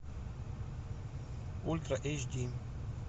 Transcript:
ультра эйч ди